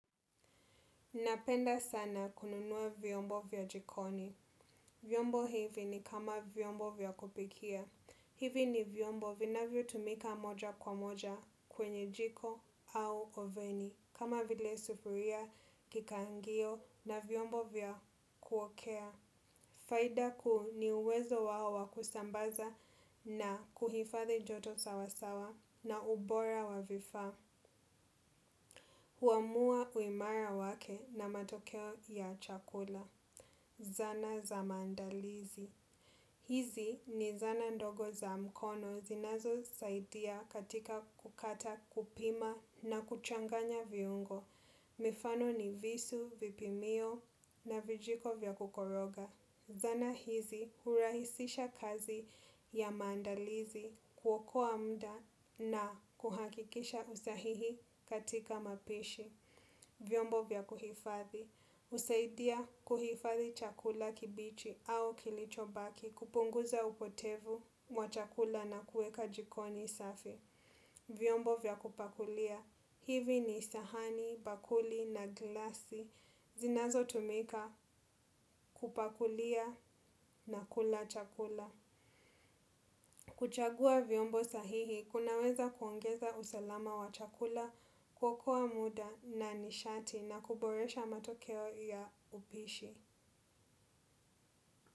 Napenda sana kununua vyombo vya jikoni. Vyombo hivi ni kama vyombo vya kupikia. Hivi ni vyombo vinavyo tumika moja kwa moja kwenye jiko au oveni. Kama vile sufuria, kikaangio na vyombo vya kuokea. Faida kuu ni uwezo wao wakusambaza na kuhifadhi joto sawasawa na ubora wa vifaa. Huamua uimara wake na matokeo ya chakula. Zana za mandalizi. Hizi ni zana ndogo za mkono zinazo saidia katika kukata kupima na kuchanganya viungo. Mifano ni visu, vipimio na vijiko vya kukoroga. Zana hizi hurahisisha kazi ya maandalizi kuokua mda na kuhakikisha usahihi katika mapishi. Vyombo vya kuhifathi. Usaidia kuhifathi chakula kibichi au kilichobaki kupunguza upotevu mwachakula na kueka jikoni safi. Vyombo vya kupakulia. Hivi ni sahani bakuli na glasi. Zinazo tumika kupakulia na kula chakula. Kuchagua viombo sahihi, kunaweza kuongeza usalama wa chakula kuokua muda na nishati na kuboresha matokeo ya upishi.